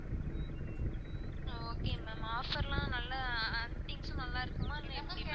ஆஹ் okay ma'am offer லான் நல்லா things லாம் நல்லா இருக்குமா ma'am எப்படி ma'am?